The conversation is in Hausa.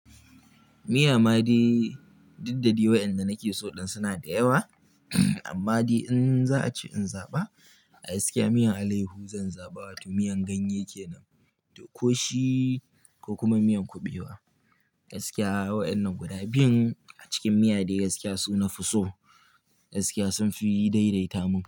Ni ama dai didda dai wayanda nake so din suna da yawa amma dai in za a ce in zaɓa, a gaskiya miyan alaihu zan zaɓa wato miyan ganye kenan da koshi ko kuma miyan kubewa. Gaskiya wayan nan guda biyun a cikin miya dai gaskiya su na fusso. Gaskiya sun fi daidaita mun.